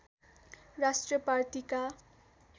राष्ट्रिय पार्टीका